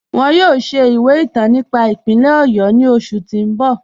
Wọn yọ̀ọ̀ ṣẹ̀ ìwẹ̀ ìtàn nípà ìpínlẹ̀ Ọ̀yọ́ ni oṣù ti n bọ̀.